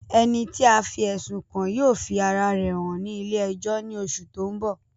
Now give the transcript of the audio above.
Ẹni tí a fí ẹ̀sùn kàn yóò fi ara rẹ̀ hàn ní ilé ẹjọ́ ní oṣù tó ń bọ̀